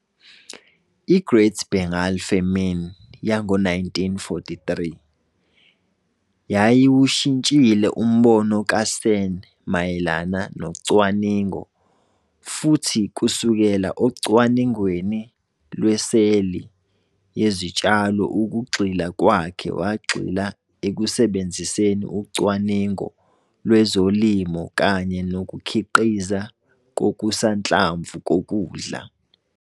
I-Great Bengal Famine yango-1943 yayiwushintshile umbono kaSen mayelana nocwaningo futhi kusukela ocwaningweni lweseli yezitshalo ukugxila kwakhe wagxila ekusebenziseni ucwaningo lwezolimo kanye nokukhiqizwa kokusanhlamvu kokudla.